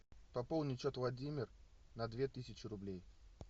пополнить счет владимир на две тысячи рублей